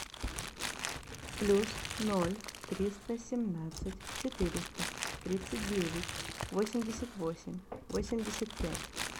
плюс ноль триста семнадцать четыреста тридцать девять восемьдесят восемь восемьдесят пять